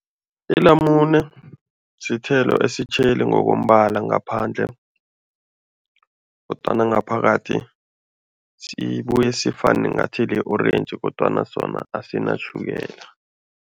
Ilamune sithelo esitjheli ngokombala ngaphandle kodwana ngaphakathi sibuye sifane ngathi li-orentji kodwana sona asinatjhukela.